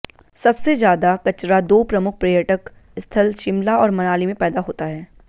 सबसे ज्यादा कचरा दो प्रमुख पर्यटक स्थल शिमला और मनाली में पैदा होता है